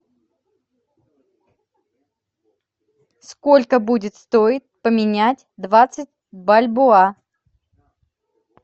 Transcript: сколько будет стоить поменять двадцать бальбоа